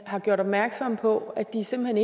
har gjort opmærksom på at de simpelt